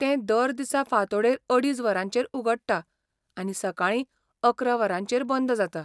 तें दर दिसा फांतोडेर अडीच वरांचेर उगडटा आनी सकाळीं अकरा वरांचेर बंद जाता.